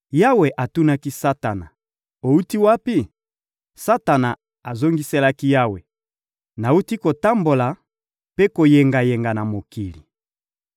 Yawe atunaki Satana: — Owuti wapi? Satana azongiselaki Yawe: — Nawuti kotambola mpe koyengayenga na mokili.